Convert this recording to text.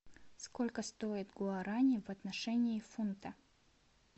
сколько стоит гуарани в отношении фунта